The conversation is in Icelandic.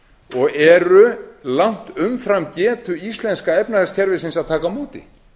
og eru langt umfram getu íslenska efnahagskerfisins að taka á móti